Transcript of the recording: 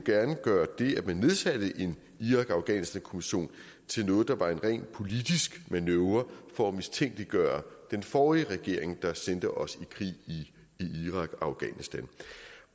gøre det at man nedsatte en irak og afghanistankommission til noget der var en rent politisk manøvre for at mistænkeliggøre den forrige regering der sendte os i krig i irak og afghanistan